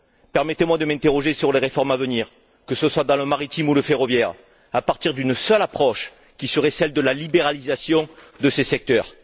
Permettez moi de m'interroger sur les réformes à venir, que ce soit dans le maritime ou le ferroviaire, à partir d'une seule approche qui serait celle de la libéralisation de ces secteurs.